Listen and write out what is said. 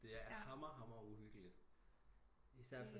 Det er hammer hammer uhyggeligt især fordi